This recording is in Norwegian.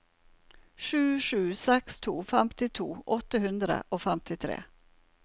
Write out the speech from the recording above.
sju sju seks to femtito åtte hundre og femtitre